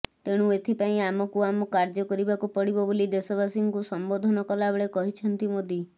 ତେଣୁ ଏଥିପାଇଁ ଆମକୁ ଆମ କାର୍ଯ୍ୟ କରିବାକୁ ପଡ଼ିବ ବୋଲି ଦେଶବାସୀଙ୍କୁ ସମ୍ବୋଧନ କଲାବେଳେ କହିଛନ୍ତି ମୋଦି